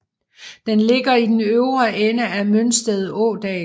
Den ligger i den øvre ende af Mønsted Ådal